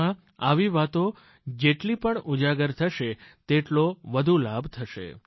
તેમાં આવી વાતો જેટલી પણ ઉજાગર થશે તેટલો વધુ લાભ થશે